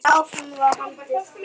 En áfram var haldið.